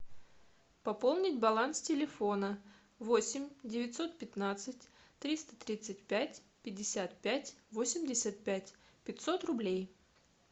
пополнить баланс телефона восемь девятьсот пятнадцать триста тридцать пять пятьдесят пять восемьдесят пять пятьсот рублей